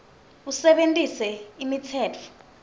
usebentise imitsetfo